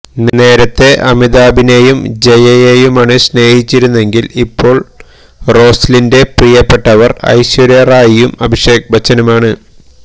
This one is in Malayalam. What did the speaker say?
നേരത്തെ അമിതാഭിനെയും ജയയെയുമാണ് സ്നേഹിച്ചിരുന്നെങ്കില് ഇപ്പോള് റോസ്ലിന്റെ പ്രിയ്യപ്പെട്ടവര് ഐശ്വര്യ റായിയും അഭിഷേക് ബച്ചനുമാണ്